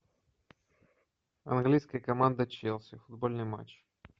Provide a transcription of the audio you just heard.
английская команда челси футбольный матч